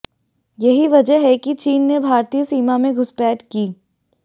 यही वजह है कि चीन ने भारतीय सीमा में घुसपैठ की